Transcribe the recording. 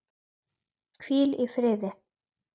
Hvíl í friði.